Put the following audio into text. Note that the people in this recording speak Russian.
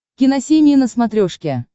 киносемья на смотрешке